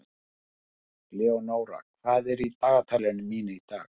Leonóra, hvað er í dagatalinu mínu í dag?